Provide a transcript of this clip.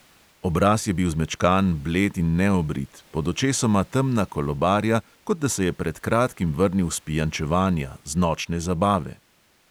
Obraz je bil zmečkan, bled in neobrit, pod očesoma temna kolobarja, kot da se je pred kratkim vrnil s pijančevanja, z nočne zabave.